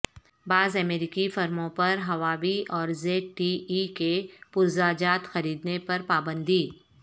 بعض امریکی فرموں پر ہواوی اور زیڈ ٹی ای کے پرزہ جات خریدنے پر پابندی